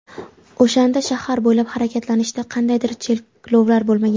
O‘shanda shahar bo‘ylab harakatlanishda qandaydir cheklovlar bo‘lmagan.